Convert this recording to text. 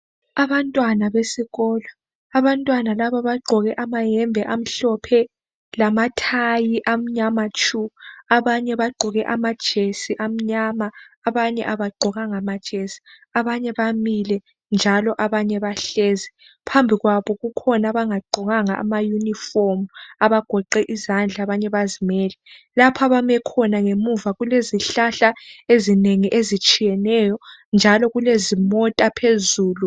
Abantwana besikolo abantwana laba bagqoke amayembe amhlophe lamathayi amnyama tshu abanye bagqoke amajesi amnyama abanye abagqokanga majesi abanye bamile njalo abanye bahlezi phambi kwabo kukhona abangagqokanga amayunifomu abagoqe izandla abanye bazimele lapha abame khona ngemuva kulezihlahla ezinengi ezitshiyeneyo njalo kulezimota phezulu.